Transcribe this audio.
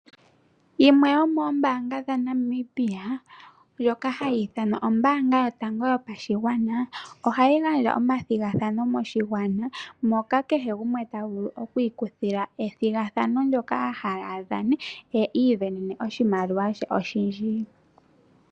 Yimwe yomoombaanga dhaNamibia ndjoka hayi ithanwa ombaanga yotango yopashigwana ohayi gandja omathigathano moshigwana moka kehe gumwe ta vulu okwiikuthila ethigathano moka a hala a kuthe ombinga ye i isindanene oshimaliwa she oshindji.